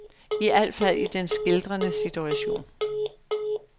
I alt fald i den skildrede situation.